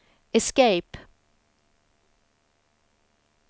escape